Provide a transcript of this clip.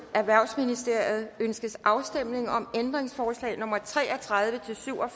erhvervsministeriet ønskes afstemning om ændringsforslag nummer tre og tredive til syv og